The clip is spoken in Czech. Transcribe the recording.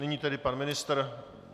Nyní tedy pan ministr?